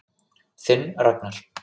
Þinn Ragnar.